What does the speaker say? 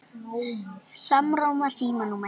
Hann játaði því.